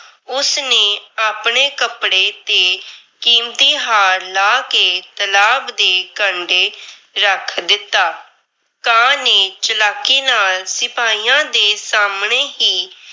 ਉਸ ਨੇ ਆਪਣੇ ਕੱਪੜੇ ਤੇ ਕੀਮਤੀ ਹਾਰ ਲਾਹ ਕੇ ਤਲਾਬ ਦੇ ਕੰਢੇ ਰੱਖ ਦਿੱਤਾ। ਕਾਂ ਨੇ ਚਲਾਕੀ ਨਾਲ ਸਿਪਾਹੀਆਂ ਦੇ ਸਾਹਮਣੇ ਹੀ।